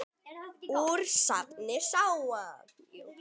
Úr safni SÁA.